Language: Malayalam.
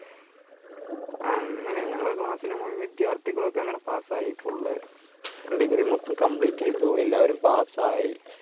അങ്ങനെ ഞങ്ങൾ class ലെ മുഴു വിദ്യാർത്ഥികൾ ഒക്കെ അങ്ങനെ പാസായി full degree മൊത്തം complete ചെയ്തു എല്ലാവരും pass ആയി